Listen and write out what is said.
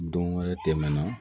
Don wɛrɛ tɛmɛna